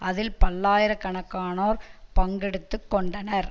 அதில் பல்லாயிர கணக்கானோர் பங்கெடுத்து கொண்டனர்